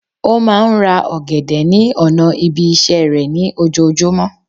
Ó máa n ra ògèdè ní ònà ibi isé rè ní ojojúmó